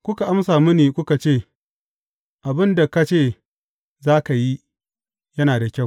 Kuka amsa mini, kuka ce, Abin da ka ce za ka yi, yana da kyau.